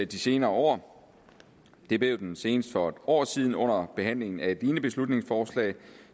de senere år det blev den senest for et år siden under behandlingen af et lignende beslutningsforslag